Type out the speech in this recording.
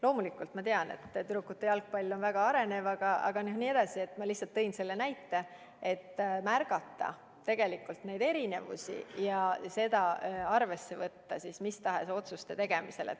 Loomulikult ma tean, et tüdrukute jalgpall on väga arenev ala, aga ma tõin lihtsalt selle näite, et tuleb märgata erinevusi ja neid arvesse võtta mis tahes otsuste tegemisel.